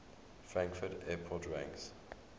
frankfurt airport ranks